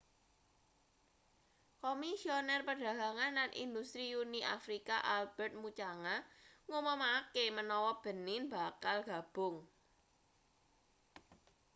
komisioner perdagangan lan industri uni afrika albertrt muchanga ngumumake menawa benin bakal gabung